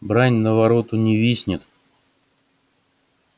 брань на вороту не виснет